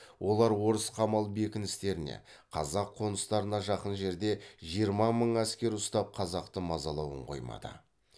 олар орыс қамал бекіністеріне қазақ қоныстарына жақын жерде жиырма мың әскер ұстап қазақты мазалауын қоймады